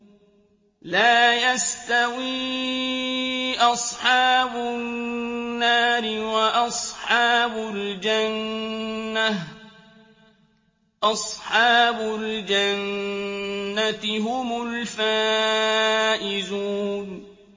لَا يَسْتَوِي أَصْحَابُ النَّارِ وَأَصْحَابُ الْجَنَّةِ ۚ أَصْحَابُ الْجَنَّةِ هُمُ الْفَائِزُونَ